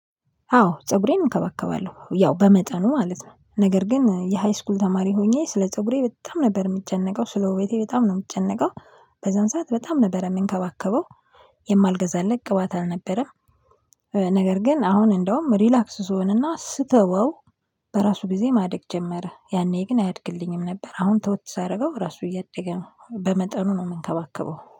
አዎ ፀጉሬን እንከባከባለሁ ያው በመጠኑ ማለት ነው ነገር ግን የሃይስኩል ተማሪ ሆኜ ስለ ፀጉሬ በጣም ነበር የምጨነቀው ስለ ውቤቴ በጣም ነው የምጨነቀው። በዛን ሰዓት በጣም ነበር የምንከባከበው። የማልገዛለት ቅባት አልነበረም። ነገር ግን አሁን እንደውም ሪላክስ ስሆንና ስተወው። በራሱ ጊዜ ማደግ ጀመረ ያኔ ግን አያድግልኝም ነበር። አሁን ተወት ሳደርገው ራሱ እያደገ ነው። በመጠኑ ነው የምንከባከበው